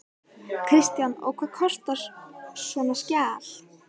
Kristján: Og hvað kostar svona skjal?